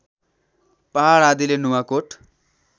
पहाड आदिले नुवाकोट